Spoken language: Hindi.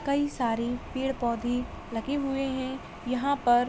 कई सारी पेड़-पौधे लगे हुए हैं यहाँ पर।